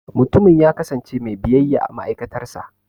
Mutumin ya kasance mai biyayya a ma'aikatar sa.